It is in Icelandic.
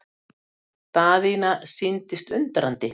Daðína sýndist undrandi.